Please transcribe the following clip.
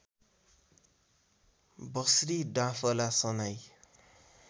बस्री डाँफला सनाई